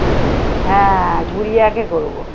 হ্যাঁ গুড়িয়া কে করবো।